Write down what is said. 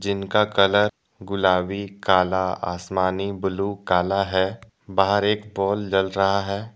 जिनका कलर गुलाबी काला आसमानी ब्लू काला है बाहर एक पोल जल रहा है।